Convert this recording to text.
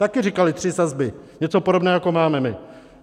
Také říkali tři sazby, něco podobného, jako máme my.